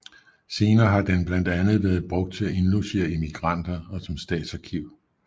Senere har den blandt andet været brugt til at indlogere immigranter og som statsarkiv